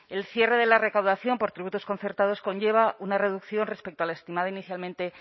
el cierre de la recaudación por tributos concertados conlleva una reducción respecto al estimado inicialmente